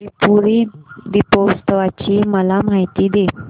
त्रिपुरी दीपोत्सवाची मला माहिती दे